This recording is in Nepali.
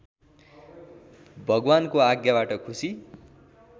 भगवानको आज्ञाबाट खुशी